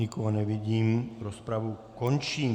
Nikoho nevidím, rozpravu končím.